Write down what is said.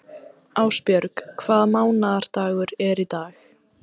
Ásbjörg, hvaða mánaðardagur er í dag?